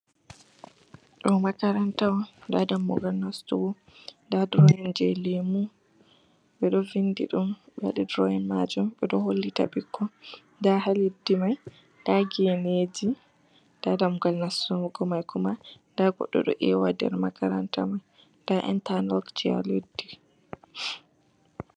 Ɗoo Makaranta on, nda damugal nastugo nda durowin jey Leemu ɓe ɗo vindi ɗum ɓe ɗo hollita ɓikkoi ndaa haa leddi man ndaa geeneeji ndaa dammugal nastugo oma-komay ndaa goɗɗo ɗo eewa nder Makaranta man ndaa intalokji haa leddi